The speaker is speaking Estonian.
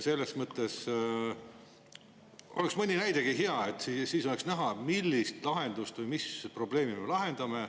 Selles mõttes oleks mõni näidegi hea, sest siis oleks näha, mis probleemi me lahendame.